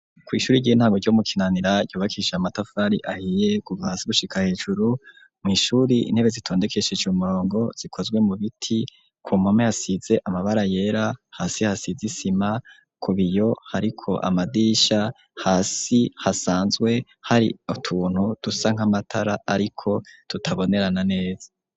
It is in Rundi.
Kw'ishuri rgie ntago ryo mukinanira yobakisha amatafari ahiye kubasi gushika hejuru mw'ishuri intebe zitondekesheje umurongo zikozwe mu biti ku mpwome asize amabara yera hasi hasizeisima kubaiyo hariko amadisha hasi hasanzwe hari utuntu dusank'amatara, ariko tutabonerana neza.